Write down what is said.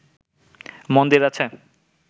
মন্দির আছে